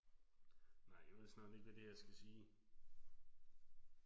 Nej jeg ved snart ikke hvad det her skal sige